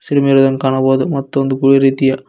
ಕಾಣಬಹುದು ಮತ್ತು ಒಂದು ಗೂಳಿ ರೀತಿಯ--